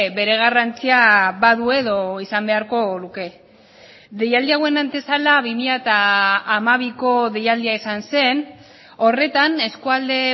bere garrantzia badu edo izan beharko luke deialdi hauen antesala bi mila hamabiko deialdia izan zen horretan eskualde